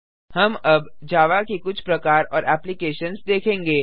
हम अब जावा के कुछ प्रकार और एप्लिकेशन्स देखेंगे